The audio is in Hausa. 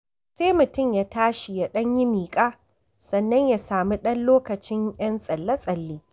Sai mutum ya tashi, ya ɗan yi miƙa, sannan ya samu ɗan lokacin 'yan tsalle-tsalle.